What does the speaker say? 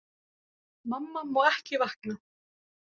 Mamma má ekki vakna!